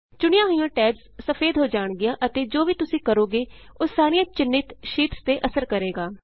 ਚੁਣੀਆਂ ਹੋਈਆਂ ਟੈਬਸ ਸਫੇਦ ਹੋ ਜਾਣਗੀਆਂ ਅਤੇ ਜੋ ਵੀ ਤੁਸੀਂ ਕਰੋਗੇ ਉਹ ਸਾਰੀਆਂ ਚਿੰਨ੍ਹਿਤ ਸ਼ੀਟਸ ਤੇ ਅਸਰ ਕਰੇਗਾ